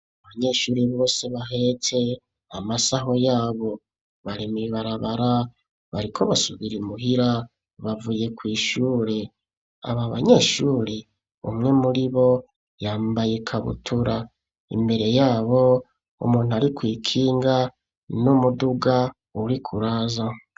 Abanyeshure bose bahetse amasaho yabo, bari mw'ibarabara, bariko basubira imuhira, bavuye kw'ishure. Aba banyeshure, umwe muribo yambaye ikabutura. Imbere yabo umuntu ari kw'ikinga n'umuduga uriko uraza.